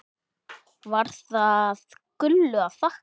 Var það Gullu að þakka.